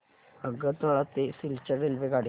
आगरतळा ते सिलचर रेल्वेगाडी